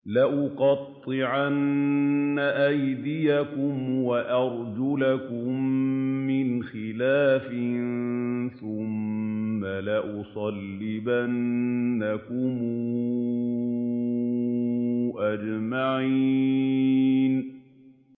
لَأُقَطِّعَنَّ أَيْدِيَكُمْ وَأَرْجُلَكُم مِّنْ خِلَافٍ ثُمَّ لَأُصَلِّبَنَّكُمْ أَجْمَعِينَ